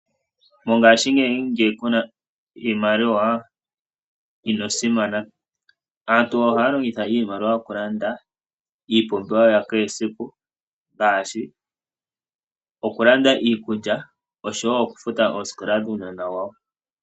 Mongashingeyi ngele kuna iimaliwa, ino simana. Aantu ohaya longitha iimaliwa oku landa iipumbiwa ya kehe siku, ngaashi okulanda iikulya osho wo okufuta ooskola dhuunona wawo.